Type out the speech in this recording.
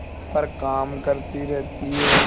पर काम करती रहती है